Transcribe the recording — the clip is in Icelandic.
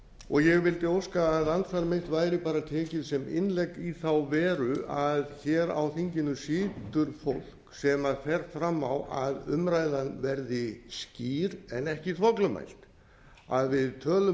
og ég vildi óska að andsvar mitt væri bara tekið sem innlegg í þá veru að hér á þinginu situr fólk sem fer fram á að umræðan verði skýr en ekki þvoglumælt að við tölum